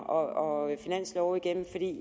og så endelig et